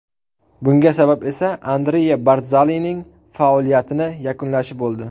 Bunga sabab esa Andrea Bardzalining faoliyatini yakunlashi bo‘ldi.